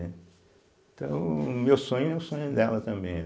então, o meu sonho é o sonho dela também, né.